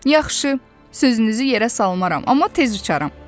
Yaxşı, sözünüzü yerə salmaram, amma tez uçaram.